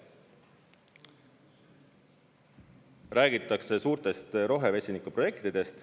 Räägitakse suurtest rohe-vesinikuprojektidest.